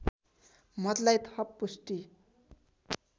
मतलाई थप पुष्टि